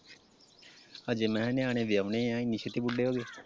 ਹਜੇ ਮੈਂ ਕਿਹਾ ਨਿਆਣੇ ਵਿਆਹੁਨੇ ਆ ਏਨੀ ਛੇਤੀ ਬੁੱਢੇ ਹੋਗੇ?